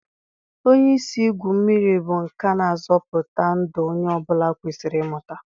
Onye isi igwu mmiri bụ nka na-azọpụta ndụ onye ọ bụla kwesịrị ịmụta.